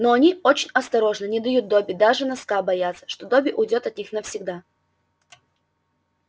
но они очень осторожны не дают добби даже носка боятся что добби уйдёт от них навсегда